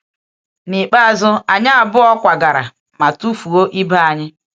N’ikpeazụ, anyị abụọ kwagara ma tufuo ibe anyị.